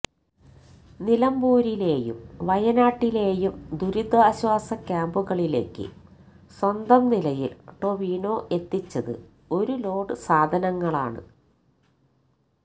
നിലമ്പൂരിലേയും വയനാട്ടിലേയും ദുരിതാശ്വാസ ക്യാമ്പുകളിലേക്ക് സ്വന്തം നിലയിൽ ടൊവിനോ എത്തിച്ചത് ഒരു ലോഡ് സാധനങ്ങളാണ്